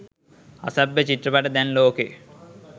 අසභ්‍ය චිත්‍රපට දැන් ලෝකෙ